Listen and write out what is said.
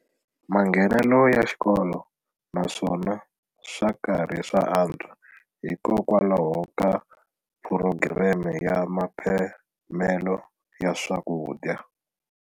Manghenelo ya xikolo naswona swa karhi swa antswa hikokwalaho ka phurogireme ya mphamelo wa swakudya.